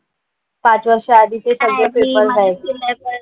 पाच वर्ष आधीचे सगळे पेपर आहेत.